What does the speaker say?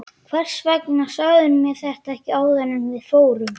Hvers vegna sagðirðu mér þetta ekki áður en við fórum?